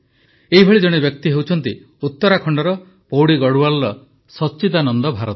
ଏପରି ଜଣେ ବ୍ୟକ୍ତି ହେଉଛନ୍ତି ଉତ୍ତରାଖଣ୍ଡର ପୌଡ଼ି ଗଢ଼ୱାଲର ସଚ୍ଚିଦାନନ୍ଦ ଭାରତୀ